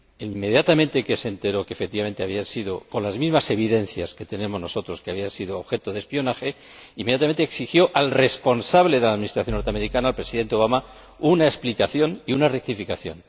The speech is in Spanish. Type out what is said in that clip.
Inmediatamente, cuando se enteró de que, efectivamente, con las mismas evidencias que tenemos nosotros, había sido objeto de espionaje, inmediatamente exigió al responsable de la Administración norteamericana, el Presidente Obama, una explicación y una rectificación.